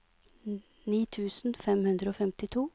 ni tusen fem hundre og femtito